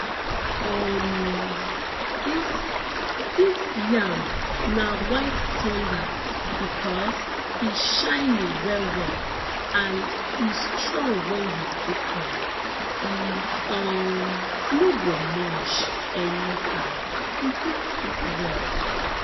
um dis dis yam na white thunder because e shiny wellwell and e strong wen you cook am e um no go mush anyhow e fit cook well